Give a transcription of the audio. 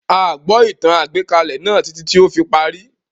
Áà gbọ́ ìtàn-àgbékalẹ̀ náà títí tí ó fi parí